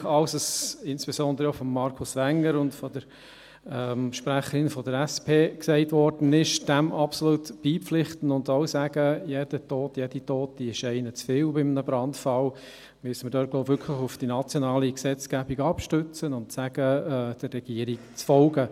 Auch wenn wir insbesondere den Voten von Markus Wenger sowie der Sprecherin der SP absolut beipflichten und auch sagen, dass bei einem Brandfall jeder und jede Tote zu viel ist, müssen wir uns auf die nationale Gesetzgebung stützen und der Regierung folgen.